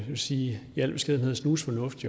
man sige i al beskedenhed snusfornuft